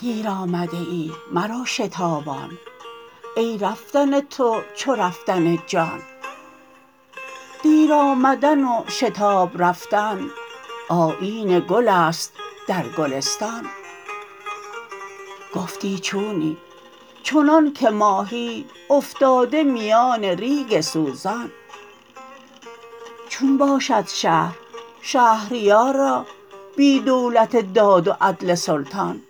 دیر آمده ای مرو شتابان ای رفتن تو چو رفتن جان دیر آمدن و شتاب رفتن آیین گل است در گلستان گفتی چونی چنانک ماهی افتاده میان ریگ سوزان چون باشد شهر شهریارا بی دولت داد و عدل سلطان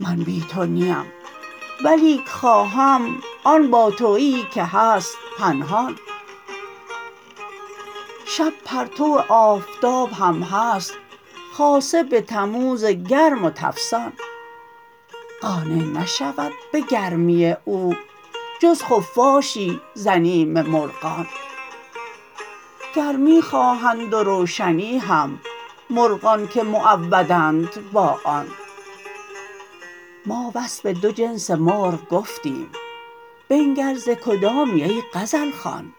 من بی تو نیم ولیک خواهم آن باتویی که هست پنهان شب پرتو آفتاب هم هست خاصه به تموز گرم و تفسان قانع نشود به گرمی او جز خفاشی ز بیم مرغان گرمی خواهند و روشنی هم مرغان که معودند با آن ما وصف دو جنس مرغ گفتیم بنگر ز کدامی ای غزل خوان